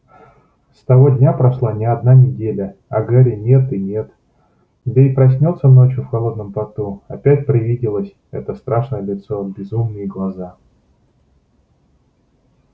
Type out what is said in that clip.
с того дня прошла не одна неделя а гарри нет-нет да и проснётся ночью в холодном поту опять привиделось это страшное лицо безумные глаза